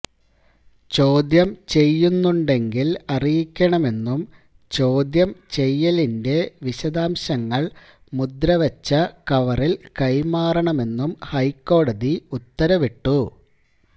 ചോദ്യം ചെയ്യുന്നുണ്ടെങ്കിൽ അറിയിക്കണമെന്നും ചോദ്യം ചെയ്യലിന്റെ വിശദാംശങ്ങൾ മുദ്രവച്ച കവറിൽ കൈമാറണമെന്നും ഹൈക്കോടതി ഉത്തരവിട്ടു